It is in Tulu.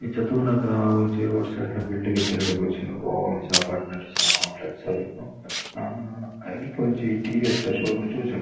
ನೆಟ್ ತೂನಗ ಒಂಜಿ ರೋಡ್ ಸೈಡ್ ದ ಬಿಲ್ಡಿಂಗ್ ಇತ್ತಿಲೆಕ ತೋಜುಂಡು. ಒವ್ವಾ ಒಂಜಿ ಅಪಾರ್ಟ್ ಮೆಂಟ್ ಇಜಿಂಡ ಕಾಂಪ್ಲೆಕ್ಸ್ ಆದಿಪ್ಪು ಹಾ ಅಲ್ಪ ಒಂಜಿ ಟಿ.ವಿ.ಎಸ್. ದ ಶೋ ರೂಮ್ ತೋಜುಂಡು.